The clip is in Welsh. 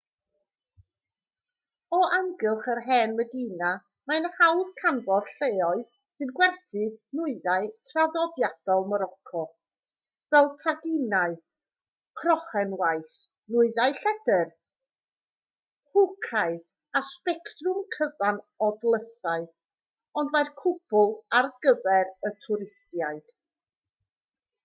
o amgylch yr hen medina mae'n hawdd canfod lleoedd sy'n gwerthu nwyddau traddodiadol moroco fel taginau crochenwaith nwyddau lledr hwcâu a sbectrwm cyfan o dlysau ond mae'r cwbl ar gyfer y twristiaid